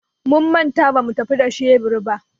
Mun manta bamu tafi da shebur ba.